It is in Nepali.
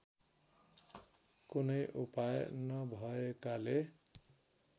कुनै उपाय नभएकाले